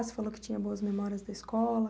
Você falou que tinha boas memórias da escola.